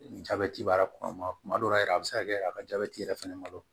Ni jabɛti b'a kɔnɔ kuma dɔw la yɛrɛ a bi se ka kɛ a ka jabɛti yɛrɛ fɛnɛ ma